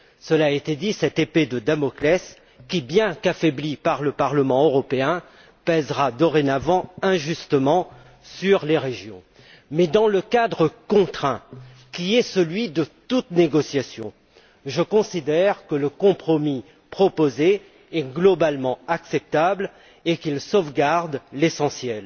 Comme cela a été dit, cette épée de Damoclès, bien qu'affaiblie par le Parlement européen, pèsera dorénavant injustement sur les régions. Mais dans le cadre contraint, qui est celui de toute négociation, je considère que le compromis proposé est globalement acceptable et qu'il sauvegarde l'essentiel.